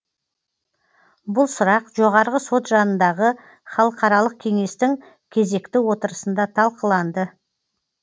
бұл сұрақ жоғарғы сот жанындағы халықаралық кеңестің кезекті отырысында талқыланды